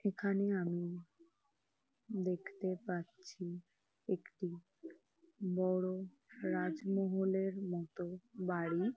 এখানে আমি দেখতে পাচ্ছি একটি বড় রাজমহলের মতো বাড়ি --